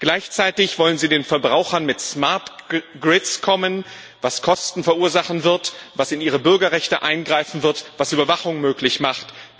Gleichzeitig wollen Sie den Verbrauchern mit smart grids kommen, was Kosten verursachen wird, was in ihre Bürgerrechte eingreifen wird, was Überwachung möglich macht.